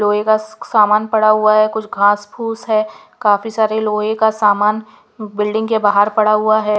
लोहे का सामान पड़ा हुआ है कुछ घास फूस है काफी सारे लोहे का सामान बिल्डिंग के बाहर पड़ा हुआ है.